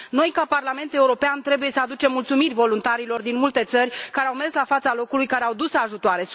Noi, ca Parlament European, trebuie să aducem mulțumiri voluntarilor din multe țări care au mers la fața locului, care au dus ajutoare.